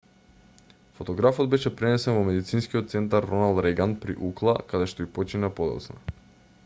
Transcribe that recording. фотографот беше пренесен во медицинскиот центар роналд реган при укла каде што и почина подоцна